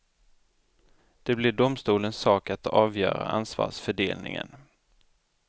Det blir domstolens sak att avgöra ansvarsfördelningen.